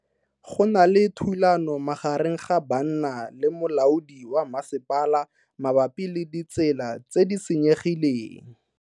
Go na le thulano magareng ga banna le molaodi wa masepala mabapi le ditsela tse di senyegileng.